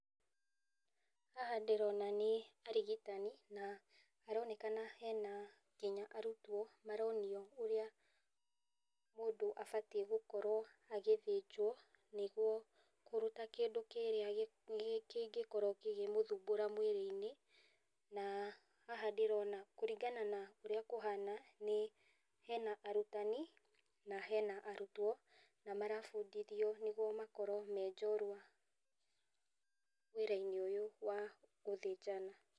Haha ndĩrona nĩ arigitani, na haronekana nginya hena arutwo maronio ũrĩa mũndũ abatiĩ nĩgũkorwo na agĩthĩnjwo, nĩguo kũruta kĩndũ kĩrĩa kĩngĩkorwo gĩkĩmũthumbũra mwĩrĩ-inĩ, na haha ndĩrona kũringana na ũrĩa kũhana , nĩ hena arutani, na hena arutwo, na marabundithio nĩgetha makorwo me njorua wĩra-inĩ ũyũ wa gũthĩnjana.